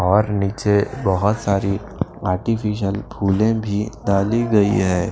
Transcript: और नीचे बहुत सारी आर्टिफिशियल फूलें भी डाली गई है।